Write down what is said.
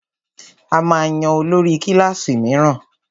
A máa yan olórí kílàsì míràn.